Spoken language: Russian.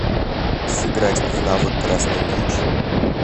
сыграть в навык красный мяч